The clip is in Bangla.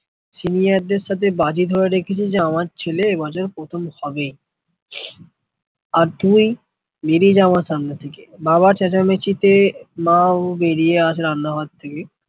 senior দের সাথে বাজি ধরে রেখেছে যে আমার ছেলে মাজার প্রথম হবে আর তুই বেরিয়ে যাওয়া সামনে থেকে বাবা চেঁচামিচি তে বাবা বেরিয়ে আসে Ahmadabad থেকে